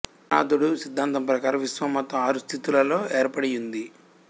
కణాదుడు సిద్ధాంతం ప్రకారం విశ్వం మొత్తం ఆరు స్థితులలో ఏర్పడి యుంది